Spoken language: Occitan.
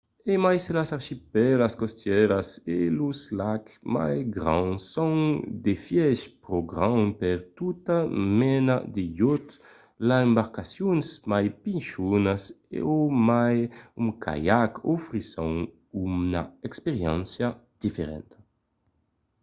e mai se las archipèlas costièras e los lacs mai grands son d'efièch pro grands per tota mena de iòt las embarcacions mai pichonas o mai un caiac ofrisson una experiéncia diferenta